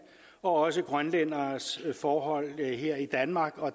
og også grønlænderes forhold her i danmark